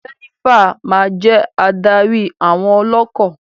Jenifa ma jẹ adarí àwọn ọlọkọ.